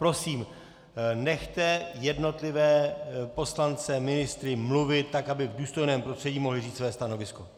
Prosím, nechte jednotlivé poslance, ministry, mluvit tak, aby v důstojném prostředí mohli říct své stanovisko.